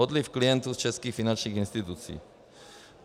Odliv klientů z českých finančních institucí.